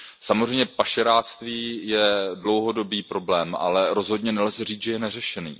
Samozřejmě pašeráctví je dlouhodobý problém, ale rozhodně nelze říci, že je neřešený.